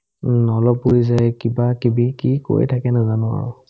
উম্, অলপ উৰি যাই কিবাকিবি কি কৈ থাকে নেজানো আৰু